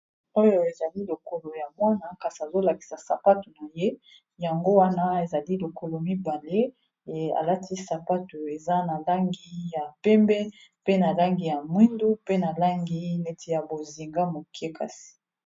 oyo ezali lokolo ya mwana kasi azolakisa sapatu na ye yango wana ezali lokolo mibale alati sapatu eza na langi ya pembe pe na langi ya mwindu pe na langi neti ya bozinga moke .